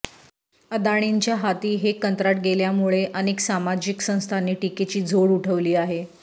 अदाणींच्या हाती हे कंत्राट गेल्यामुळे अनेक सामाजिक संस्थांनी टीकेची झोड उठवली आहे